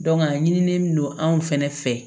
a ɲinilen don anw fɛnɛ fɛ